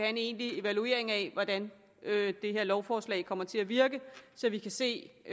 en egentlig evaluering af hvordan det her lovforslag kommer til at virke så vi kan se